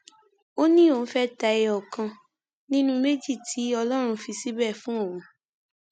ó ní òun fẹẹ ta ẹyọ kan nínú méjì tí ọlọrun fi síbẹ fún òun